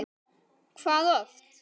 Hvað oft?